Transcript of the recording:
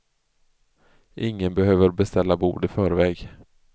Ingen behöver beställa bord i förväg.